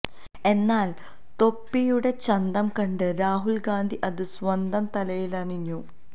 എന്നാൽ തൊപ്പിയുടെ ചന്തം കണ്ട് രാഹുൽ ഗാന്ധി അത് സ്വന്തം തലയിലണിഞ്ഞു